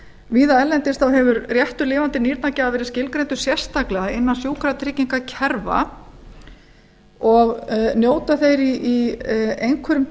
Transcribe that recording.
víða erlendis hefur réttur lifandi nýrnagjafa verið skilgreindur sérstaklega innan sjúkratryggingakerfa og njóta þeir í einhverjum